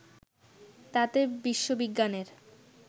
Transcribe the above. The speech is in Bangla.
তাতে বিশ্ববিজ্ঞানের